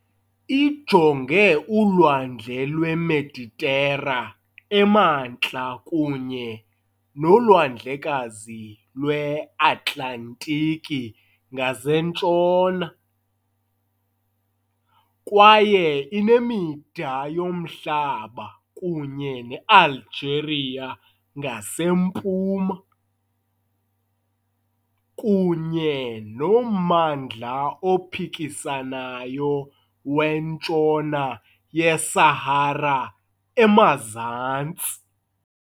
Ijonge uLwandle lweMeditera emantla kunye noLwandlekazi lweAtlantiki ngasentshona, kwaye inemida yomhlaba kunye neAlgeria ngasempuma, kunye nommandla ophikisanayo weNtshona yeSahara emazantsi .